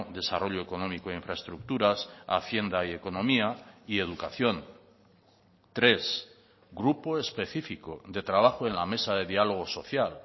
desarrollo económico e infraestructuras hacienda y economía y educación tres grupo específico de trabajo en la mesa de diálogo social